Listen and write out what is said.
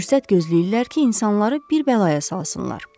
Fürsət gözləyirlər ki, insanları bir bəlaya salsınlar.